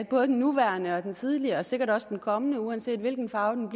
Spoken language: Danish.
både den nuværende og den tidligere og sikkert også den kommende regering uanset hvilken farve den